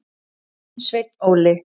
Þinn, Sveinn Óli.